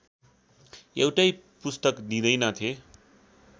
एउटै पुस्तक दिँदैनथे